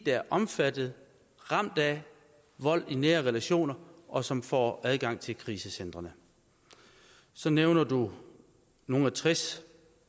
der er omfattet af ramt af vold i nære relationer og som får adgang til krisecentrene så nævner du at nogle og tres